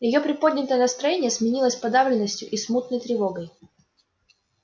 её приподнятое настроение сменилось подавленностью и смутной тревогой